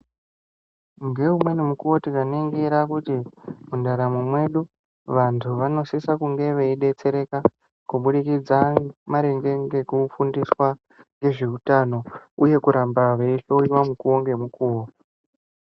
Ngeumweni mukuyo tikaringira kuti mundaramo mwedu avantu vanosisa kunge veibetsereka kubudikidza maringe ngekufundiswa ngezveutano uyu kuramba veihloiwa mukuwo ngemukowo.